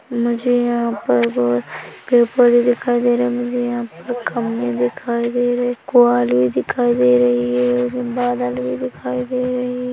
मुझे यहाँ पर बहुत पेड़ -पौधे दिखाई दे रहे है मुझे यहाँ पर खम्बे दिखाई दे रहे है क्वालें दिखाई दे रही है बदल भी दिखाई दे रहे --